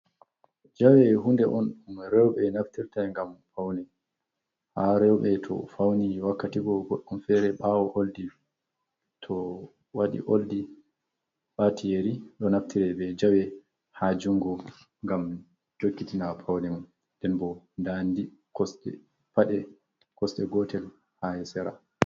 Jawe: hunde on dum roɓe naftirta ngam paune. ha robe to fauni wakkati go goddum fere bawo oldi. To wadi oldi, wati yeri, do naftire be jawe ha jungo ngam jokkitina paune mun. Nden bo, nda pade kosde gotel ha sera.